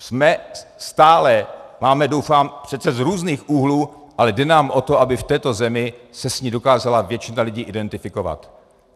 Jsme stále, máme, doufám, přece z různých úhlů, ale jde nám o to, aby v této zemi se s ní dokázala většina lidí identifikovat.